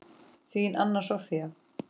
Þín, Anna Soffía.